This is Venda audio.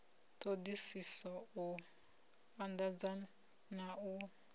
ṱhoḓisiso u anḓadza na u